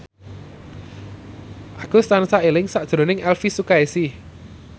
Agus tansah eling sakjroning Elvy Sukaesih